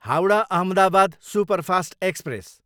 Howrah, Ahmedabad superfast express